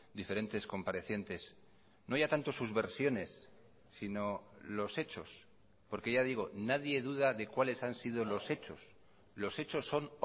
diferentes comparecientes no ya tanto sus versiones sino los hechos porque ya digo nadie duda de cuáles han sido los hechos los hechos son